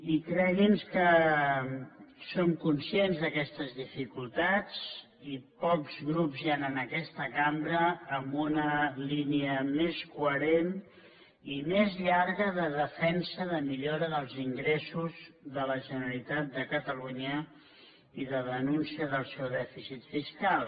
i cregui’ns que som conscients d’aquestes dificultats i pocs grups hi han en aquesta cambra amb una línia més coherent i més llarga de defensa de la millora dels ingressos de la generalitat de catalunya i de denúncia del seu dèficit fiscal